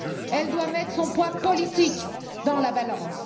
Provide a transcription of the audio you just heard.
Elle doit mettre son poids politique dans la balance.